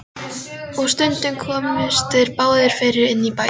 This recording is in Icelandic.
Og stundum komust þeir ekki báðir fyrir inni í bænum.